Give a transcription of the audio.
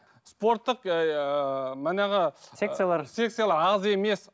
спорттық ыыы манағы секциялар секциялар аз емес